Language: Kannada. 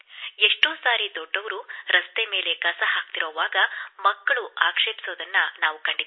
ಎಷ್ಟೋ ಸಾರಿ ದೊಡ್ಡವರು ರಸ್ತೆ ಮೇಲೆ ಕಸ ಹಾಕುತ್ತಿರುವಾಗ ಮಕ್ಕಳು ಆಕ್ಷೇಪಿಸುವುದನ್ನು ನಾನು ನೋಡಿದ್ದೇವೆ